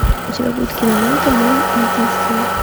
у тебя будет кинолента мой единственный